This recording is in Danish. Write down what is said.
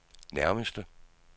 nærmeste